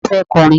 Ta ló fẹ́ kọrin?